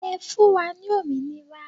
Ẹ fún wa ní òmìnira